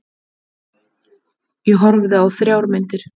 Ég horfði á þrjár myndir.